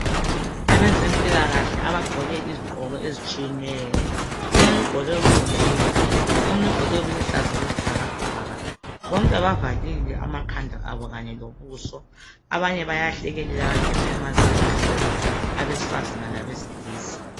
Abezempilakahle abagqoke izigqoko ezitshiyeneyo. Omunye ugqoke okuyipink omunye ugqoke okuluhlaza okwesibhakabhaka. Bonke bavalile amakhanda abo kanye lobuso. Abanye bayahlekelela baveze amazinyo amhlophe abesifazane labesilisa.